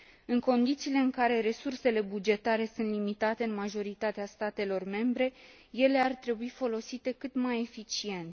În condițiile în care resursele bugetare sunt limitate în majoritatea statelor membre, ele ar trebui folosite cât mai eficient.